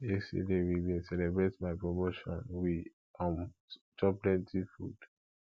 yesterday we bin celebrate my promotion we um chop plenty food